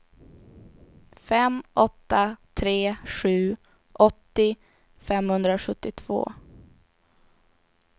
fem åtta tre sju åttio femhundrasjuttiotvå